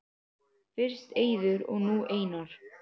Fyrst Eiður og nú Einar??